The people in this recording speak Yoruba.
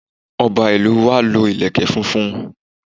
Ọba ìlú wa lo ìlèkè funfun